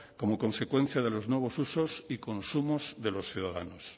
como consecuencia de los nuevos usos y consumos de los ciudadanos